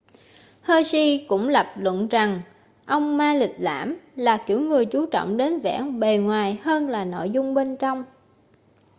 hsieh cũng lập luận rằng ông ma lịch lãm là kiểu người chú trọng đến vẻ bề ngoài hơn là nội dung bên trong